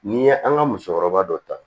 N'i ye an ka musokɔrɔba dɔ ta